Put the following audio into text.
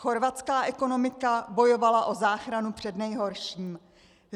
Chorvatská ekonomika bojovala o záchranu před nejhorším.